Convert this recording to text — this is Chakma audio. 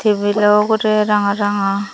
tibil o ugurey ranga ranga.